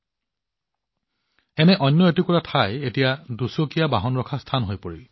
আন এখন জাংকয়াৰ্ড দুচকীয়া বাহনৰ বাবে পাৰ্কিং স্থানলৈ ৰূপান্তৰিত কৰা হৈছে